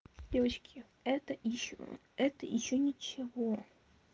девочки это ещё это ещё ничего